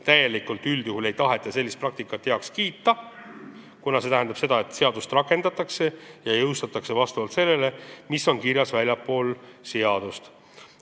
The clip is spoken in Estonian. Täielikult ei taheta sellist praktikat heaks kiita, kuna see tähendab seda, et seadust rakendatakse ja jõustatakse vastavalt sellele, mis on kirjas väljaspool seadust.